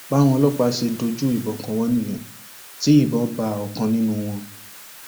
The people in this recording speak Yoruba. báwọn ọlọpàá náà ṣe dojú ìbọn kọ wọn nìyẹn tí ìbọn bá ọkan nínú wọn